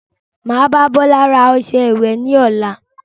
Máa bá Bọlá ra ọsẹ ìwẹ̀ ni ọ̀la